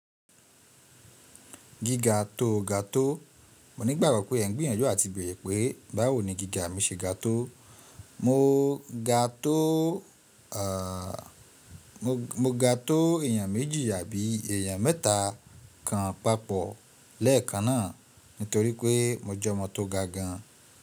Gíga tó ga tó, mo ní ìgbàgbọ́ pé ẹ ń gbìyànjú àti bèrè pé báwo ni gíga mi se ga tó. Mo ga tó, mo ga tó èèyàn méjì àbí èèyàn mẹ́ta kan papọ̀ lẹ́ẹ̀kan náà nítorí pé mo jẹ́ ọmọ tó ga gan.